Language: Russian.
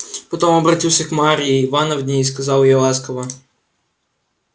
потом обратился к марье ивановне и сказал ей ласково